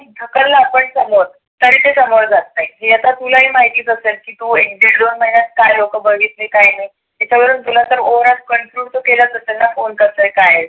ढकललं आपण समोर तरी ते समोर जात नाही. हे आता तुलाही माहिती असेल. एक दोन महिण्यात काय लोक बघितले काय नाही. एखाद्या वेळेस तुला overall तर त्यांना कोण करतय काय.